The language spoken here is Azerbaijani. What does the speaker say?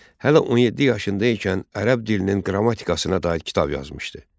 Hələ 17 yaşında ikən ərəb dilinin qrammatikasına dair kitab yazmışdı.